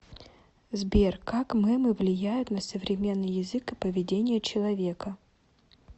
сбер как мемы влияют на современный язык и поведение человека